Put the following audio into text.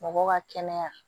Mɔgɔw ka kɛnɛya